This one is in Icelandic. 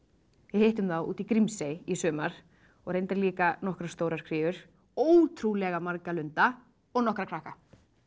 hittum þá úti í Grímsey í sumar og reyndar líka nokkrar stórar kríur ótrúlega marga lunda og nokkra krakka